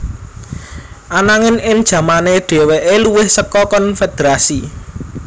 Ananging ing jamane dhèwèké luwih saka konfederasi